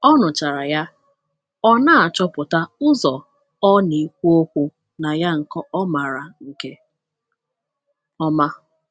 O nụchara ya, ọ na-achọpụta ụzọ ọ na-ekwu okwu na ya nke ọ maara nke ọma.